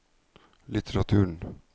litteraturen